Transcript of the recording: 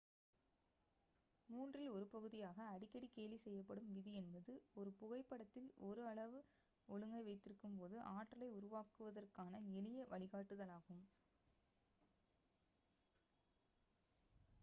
மூன்றில் ஒரு பகுதியாக அடிக்கடி கேலி செய்யப்படும் விதி என்பது ஒரு புகைப்படத்தில் ஒரு அளவு ஒழுங்கை வைத்திருக்கும்போது ஆற்றலை உருவாக்குவதற்கான எளிய வழிகாட்டுதலாகும்